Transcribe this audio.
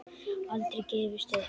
Aldrei gefist upp.